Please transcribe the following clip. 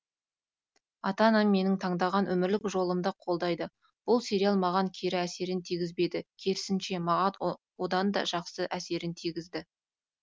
ата анам менің таңдаған өмірлік жолымды қолдайды бұл сериал маған кері әсерін тигізбеді керісінше маған оданда жақсы әсерін тигізді